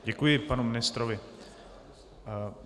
Děkuji panu ministrovi.